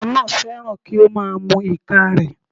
Ọmọ náà fẹ́ràn kí ó má a mu ìka rẹ̀